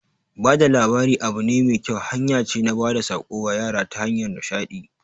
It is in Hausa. Bada labari abu ne mai kyau, hanya ce na bada tsako wa yara ta hanyar nishadi